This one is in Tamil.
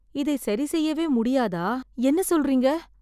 இதை சரி செய்யவே முடியாதா? என்ன சொல்றீங்க?